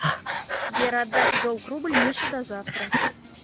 сбер отдать в долг рубль мише до завтра